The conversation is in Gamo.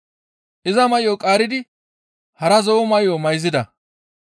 Iza may7o qaaridi hara zo7o may7o mayzida.